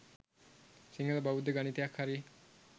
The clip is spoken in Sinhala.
සිංහල බෞද්ධ ගණිතයක් හරි